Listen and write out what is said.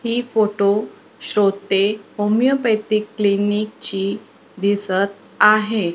हि फोटो शोधते होमिओपॅथिक क्लिनिकची दिसतं आहे.